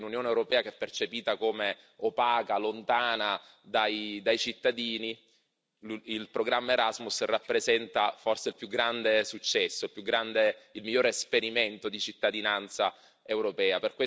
Probabilmente, in un'Unione europea che è percepita come opaca e lontana dai cittadini, il programma Erasmus rappresenta il più grande successo, il miglior esperimento di cittadinanza europea.